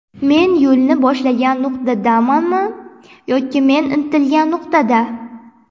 Men yo‘lni boshlagan nuqtadamanmi yoki men intilgan nuqtada?